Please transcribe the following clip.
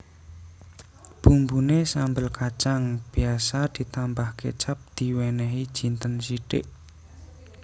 Bumbuné sambel kacang biasa ditambah kecap diwènèhi jinten sithik